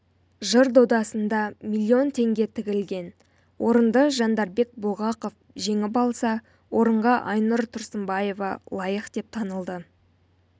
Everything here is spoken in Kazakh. жыр додасында миллион теңге тігілген орынды жандарбек бұлғақов жеңіп алса орынға айнұр тұрсынбаева лайық деп танылды